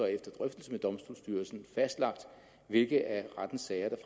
efter drøftelse med domstolsstyrelsen fastlagt hvilke af rettens sager der